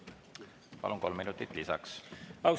Palun, kolm minutit lisaks!